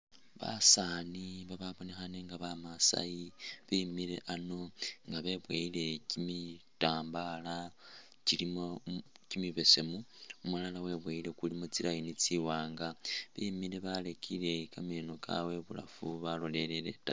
Basaani babonekhaane nga ba masai bemile ano nga beboyile kimitambaala kilimo kimibesemu, umulala weboyile kulimu tsi line tsiwaanga. Bemile barekile kameno kabwe ibulafu balolelele itaayi.